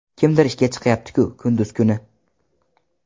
Kimdir ishga chiqyapti-ku kunduz kuni.